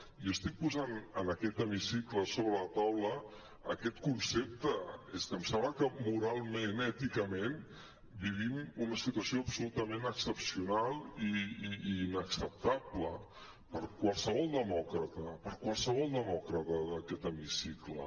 jo estic posant en aquest hemicicle sobre la taula aquest concepte és que em sembla que moralment èticament vivim una situació absolutament excepcional i inacceptable per a qualsevol demòcrata per a qualsevol demòcrata d’aquest hemicicle